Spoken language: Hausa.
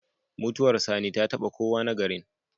Mutuwar sani ta taba kowa na garin